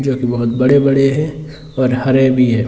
जो की बहुत बड़े बड़े हैं और हरे भी हैं ।